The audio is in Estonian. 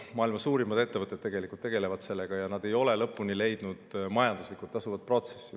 Maailma suurimad ettevõtted tegelevad sellega, aga nad ei ole leidnud lõpuni majanduslikult tasuvat protsessi.